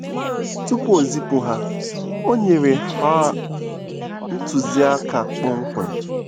Tupu o zipụ ha, o nyere ha ntụziaka kpọmkwem.